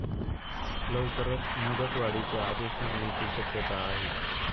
लवकरच मुदतवाढीचे आदेश निघण्याची शक्यता आहे.